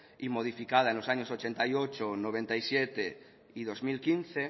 y modificada en los años ochenta y ocho noventa y siete y dos mil quince